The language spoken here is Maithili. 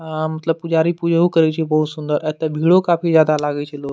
आ मतलब पुजारी पूजहू करय छै बहुत सुन्दर एतो भिड़ो काफी ज्यादा लागे छै लोग --